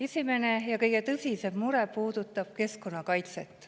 Esimene ja kõige tõsisem mure puudutab keskkonnakaitset.